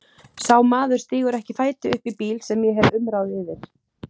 Sá maður stígur ekki fæti uppí bíl sem ég hef umráð yfir.